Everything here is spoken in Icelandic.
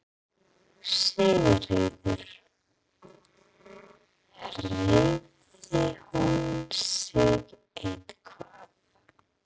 Sigríður: Hreyfði hún sig eitthvað?